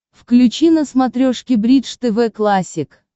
включи на смотрешке бридж тв классик